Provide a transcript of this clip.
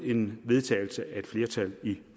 en vedtagelse af et flertal i